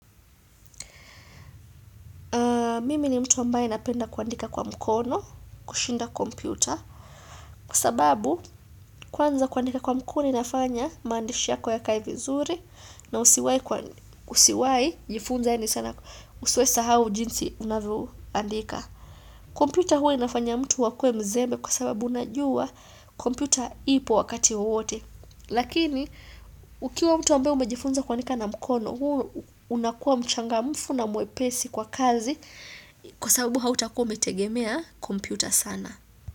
Mimi ni mtu ambaye napenda kuandika kwa mkono, kushinda kompyuta. Kwa sababu, kwanza kuandika kwa mkono inafanya maandishi yako yakae vizuri na usiwai jifunza yani sana usiwaisahau jinsi unavyoandika. Kompyuta huwa inafanya mtu akue mzembe kwa sababu najua kompyuta ipo wakati wowote. Lakini, ukiwa mtu ambaye umejifunza kuandika na mkono, unakua mchangamfu na mwepesi kwa kazi Kwa sababu hautakua umetegemea kompyuta sana.